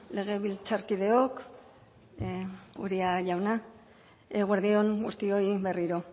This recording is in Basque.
legebiltzarkideok uria jauna eguerdi on guztioi berriro